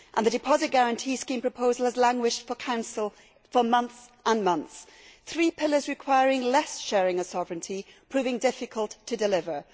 The deposit guarantee scheme proposal has languished for Council for months and months, three pillars requiring less sharing of sovereignty proving difficult to deliver.